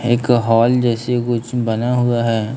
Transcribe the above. एक हॉल जैसे कुछ बना हुआ है।